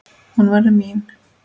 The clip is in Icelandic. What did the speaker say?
Hún verður mín.